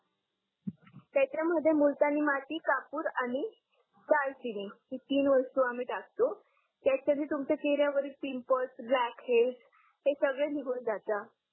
त्याच्या मध्ये मुलतानी माती कापूर आणि दालचीनी ही तीन वस्तु आम्ही टाकतो त्याच्याणी तुमचा चेहऱ्या वर पिंपल्स रॅकेज हे सगडे निगुण जातात